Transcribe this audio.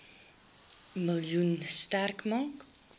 miljoen sterk maak